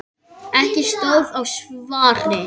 Ekki stóð á svari: Nei!